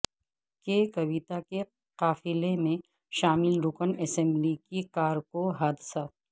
کے کویتاکے قافلہ میں شامل رکن اسمبلی کی کار کو حادثہ